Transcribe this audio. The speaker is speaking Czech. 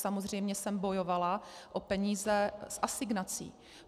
Samozřejmě jsem bojovala o peníze z asignací.